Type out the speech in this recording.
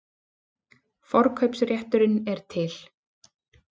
Forkaupsrétturinn er til.